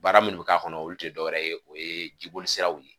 Baara minnu bɛ k'a kɔnɔ olu tɛ dɔwɛrɛ ye o ye jibolisiraw ye